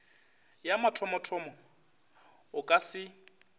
ya mathomothomo o ka se